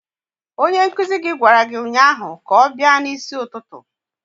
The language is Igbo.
Onye nkuzi gị gwara gị ụnyaahụ ka ọ bịa n'isi ụtụtụ!